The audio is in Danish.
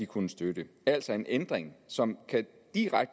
kunne støtte altså en ændring som kan